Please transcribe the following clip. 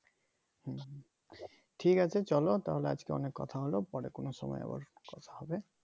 হুম হুম ঠিক আছে চলো তাহলে আজকে অনেক কথা হলো পরে কোনো সময় আবার কথা হবে